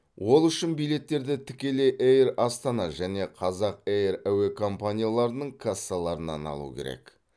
ол үшін билеттерді тікелей эйр астана және қазақ эйр әуе компанияларының кассаларынан алу керек